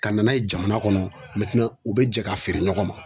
Ka na n'a ye jamana kɔnɔ u bɛ jɛ ka feere ɲɔgɔn ma